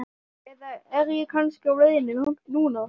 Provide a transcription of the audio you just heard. Eða er ég kannski á leiðinni þangað núna?